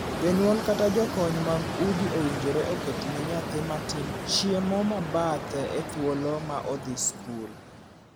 Jonyuol kata jokony mag udi owinjore oketne nyathi matin chiemo ma bathe e thuolo ma odhi skul.